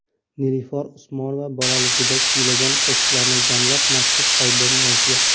Nilufar Usmonova bolaligida kuylagan qo‘shiqlarini jamlab, maxsus albom yozdi.